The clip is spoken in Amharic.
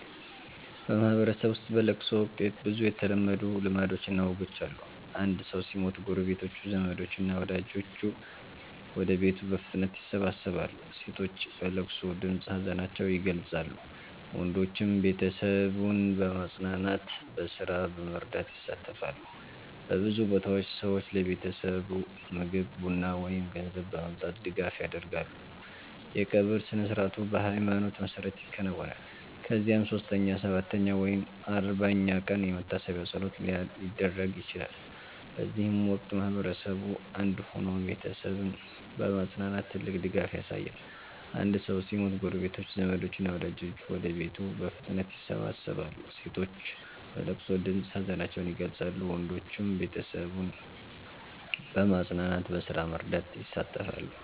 በማህበረሰብ ውስጥ በለቅሶ ወቅት ብዙ የተለመዱ ልማዶችና ወጎች አሉ። አንድ ሰው ሲሞት ጎረቤቶች፣ ዘመዶች እና ወዳጆች ወደ ቤቱ በፍጥነት ይሰበሰባሉ። ሴቶች በለቅሶ ድምፅ ሀዘናቸውን ይገልጻሉ፣ ወንዶችም ቤተሰቡን በማጽናናትና በስራ በመርዳት ይሳተፋሉ። በብዙ ቦታዎች ሰዎች ለቤተሰቡ ምግብ፣ ቡና ወይም ገንዘብ በማምጣት ድጋፍ ያደርጋሉ። የቀብር ስነ-ሥርዓቱ በሃይማኖት መሰረት ይከናወናል፣ ከዚያም 3ኛ፣ 7ኛ ወይም 40ኛ ቀን የመታሰቢያ ፀሎት ሊደረግ ይችላል። በዚህ ወቅት ማህበረሰቡ አንድ ሆኖ ቤተሰቡን በማጽናናት ትልቅ ድጋፍ ያሳያል። አንድ ሰው ሲሞት ጎረቤቶች፣ ዘመዶች እና ወዳጆች ወደ ቤቱ በፍጥነት ይሰበሰባሉ። ሴቶች በለቅሶ ድምፅ ሀዘናቸውን ይገልጻሉ፣ ወንዶችም ቤተሰቡን በማጽናናትና በስራ በመርዳት ይሳተፋሉ።